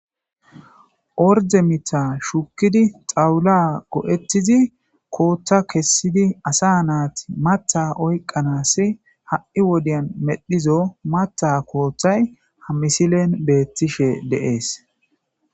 Ordde miththa shukkiddi xaawula go'etiddi kota kessidi mata oyiqqanasi hai wodiyan medhido ha kotay ha misile betishe dees.